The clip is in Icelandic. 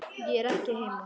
Ég er ekki heima